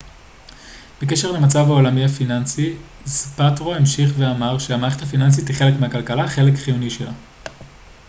בקשר למצב העולמי הפיננסי זפאטרו המשיך ואמר ש המערכת הפיננסית היא חלק מהכלכלה חלק חיוני שלה